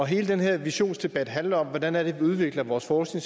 hele den her visionsdebat handler om hvordan vi udvikler vores forskning